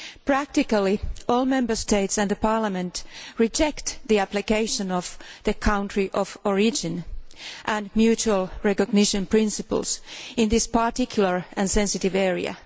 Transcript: Practically all Member States and Parliament reject the application of the country of origin and mutual recognition principles in this particular and sensitive area.